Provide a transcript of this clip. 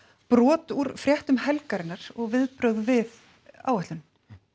brot úr fréttum helgarinnar og viðbrögð við áætluninni